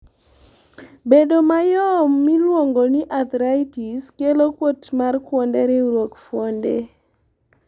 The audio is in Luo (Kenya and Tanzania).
bedo mayom miluongo arthritis kelo kuit mar kuonde riwruok fuonde